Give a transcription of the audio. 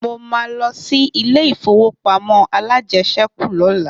Mo ma lọ sí ilé ìfowópamọ́ alájẹsẹ́kù lọ́la